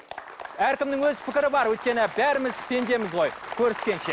әркімнің өз пікірі бар өйткені бәріміз пендеміз ғой көріскенше